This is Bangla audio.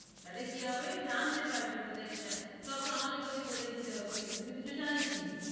তাহলে কি হবে জানতে পারবি, কোথায় টিকা, সব তো আমাকে তোকে বলে দিতে হচ্ছে, তুই তো কিছু জানিস ই না,